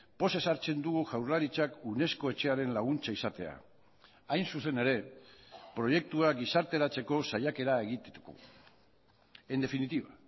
pozez hartzen dugu jaurlaritzak unesco etxearen laguntza izatea hain zuzen ere proiektua gizarteratzeko saiakera egiteko en definitiva